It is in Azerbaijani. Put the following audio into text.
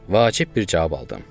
Vacib bir cavab aldım.